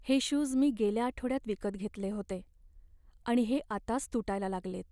हे शूज मी गेल्या आठवड्यात विकत घेतले होते आणि हे आताच तुटायला लागलेत.